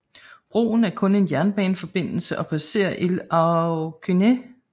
Broen er kun en jernbaneforbindelse og passerer Île aux Cygnes